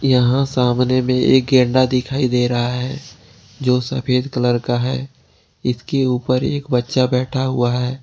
यहां सामने में एक गेंडा दिखाई दे रहा है जो सफेद कलर का है इसके ऊपर एक बच्चा बैठा हुआ है।